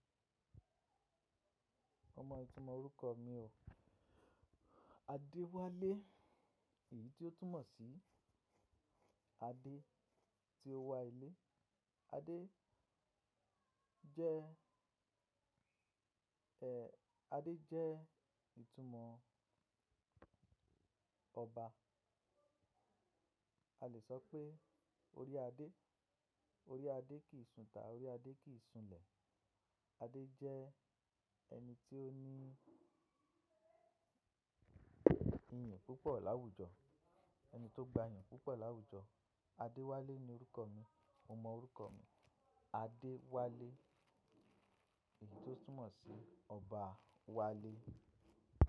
Ọmọ ẹ ti mọ orúkọ mi o. Adewale èyí tí ó túmọ̀ sí Ade tí ó wà ilé. Ade jẹ, ẹ, Ade jẹ ìtumọ̀ ọba. A le sọ pé orí Ade. Orí Ade kìí sun tá, orí Ade kìí sun lẹ̀. Ade jẹ ẹni tí ó ní ìyìn púpọ̀ láwùjọ. Ẹni tó gba ìyìn púpọ̀ láwùjọ. Adewale ni orúkọ mi. Mo mo orúkọ mi Adewale èyí tó túmọ̀ sí Ọba wale.